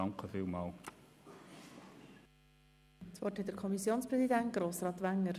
Das Wort hat der Kommissionspräsident, Grossrat Wenger.